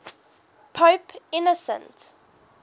pope innocent